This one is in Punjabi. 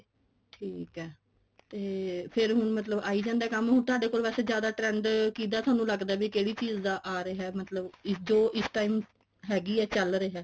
ਠੀਕ ਐ ਤੇ ਫੇਰ ਹੁਣ ਮਤਲਬ ਆਈ ਜਾਂਦਾ ਕੰਮ ਤੁਹਾਡੇ ਕੋਲ ਵੈਸੇ ਜਿਆਦਾ trend ਕਿਹਦਾ ਤੁਹਾਨੂੰ ਲੱਗਦਾ ਵੀ ਕਿਹੜੀ ਚੀਜ ਦਾ ਆ ਰਿਹਾ ਮਤਲਬ ਜੋ ਇਸ time ਹੈਗੀ ਹੈ ਚੱਲ ਰਿਹਾ